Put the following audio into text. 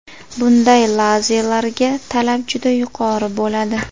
Bunday lazelarga talab juda yuqori bo‘ladi.